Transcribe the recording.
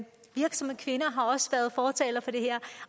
virksomme kvinder har også været fortalere for det her